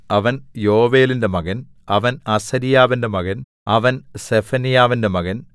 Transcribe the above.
അവൻ യോവേലിന്റെ മകൻ അവൻ അസര്യാവിന്റെ മകൻ അവൻ സെഫന്യാവിന്റെ മകൻ